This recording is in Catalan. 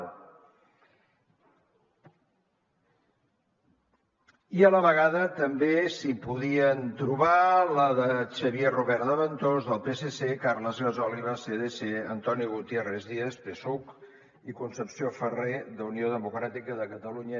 i a la vegada també s’hi podien trobar la de xavier rubert de ventós del psc carles gasòliba cdc antoni gutiérrez díaz psuc i concepció ferrer d’unió democràtica de catalunya